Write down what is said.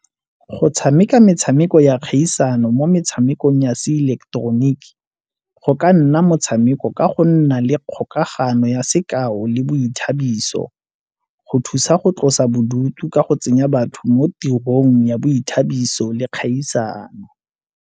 Go tshameka metshameko ya kgaisano mo metshamekong ya se ileketeroniki go ka nna motshameko ka go nna le kgokagano ya sekao le boithabiso, go thusa go tlosa bodutu ka go tsenya batho mo tirong ya boithabiso le kgaisano.